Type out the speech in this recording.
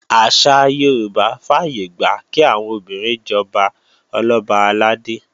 Àṣà Yorùbá fàyègbà kí àwọn obìnrin jọba Ọlọ́ba àlàdé